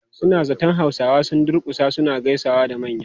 Suna zaton Hausawa sun durkusa suna gaisawa da manya.